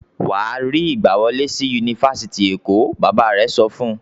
"Wà á rí ìgbàwọlé sí Yunifásitì Èkó! Bàbá rẹ̀ sọ fún un.